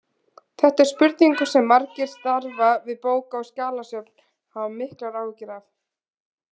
Þetta er spurning sem margir sem starfa við bóka- og skjalasöfn hafa miklar áhyggjur af.